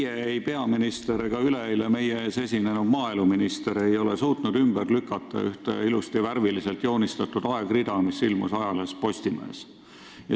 Ei teie, peaminister ega üleeile meie ees esinenud maaeluminister ei ole suutnud ümber lükata ühte ilusasti värviliselt joonistatud aegrida, mis ilmus ajalehes Postimees.